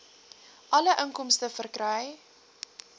alle inkomste verkry